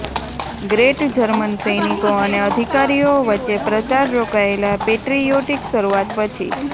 great German સૈનિકો અને અધિકારીઓ વચ્ચે પ્રચાર રોકાયેલા પેટ્રીયોટિક શરૂઆત પછી